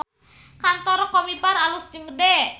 Kantor Combiphar alus jeung gede